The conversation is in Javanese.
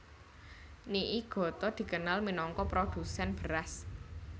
Niigata dikenal minangka produsèn beras